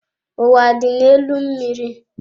Ụwa dị n'elu mmiri.